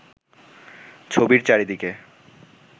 ছবির চারিদিকে